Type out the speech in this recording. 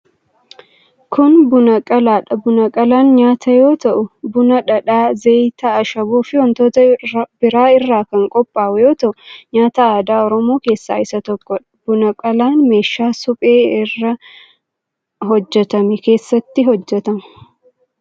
Kun, buna qalaa dha. Buna qalaan nyaata yoo ta'u, buna, dhadhaa, zayita, ashaboo fi wantoota biroo irraa kan qophaa'u yoo ta'u, nyaata aadaa Oromoo keessaa isa tokkoo dha. Buna qalaan ,meeshaa suphee irraa irraa hojjatame keessatti hojjatama.